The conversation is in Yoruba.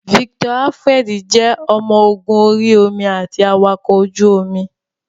Victor Alfred jẹ́ ọmọ ogun orí omi àti awakọ̀ ojú omi.